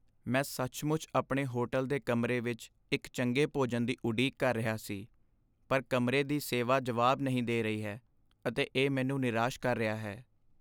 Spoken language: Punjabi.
ਮੈਂ ਸੱਚਮੁੱਚ ਆਪਣੇ ਹੋਟਲ ਦੇ ਕਮਰੇ ਵਿੱਚ ਇੱਕ ਚੰਗੇ ਭੋਜਨ ਦੀ ਉਡੀਕ ਕਰ ਰਿਹਾ ਸੀ, ਪਰ ਕਮਰੇ ਦੀ ਸੇਵਾ ਜਵਾਬ ਨਹੀਂ ਦੇ ਰਹੀ ਹੈ ਅਤੇ ਇਹ ਮੈਨੂੰ ਨਿਰਾਸ਼ ਕਰ ਰਿਹਾ ਹੈ।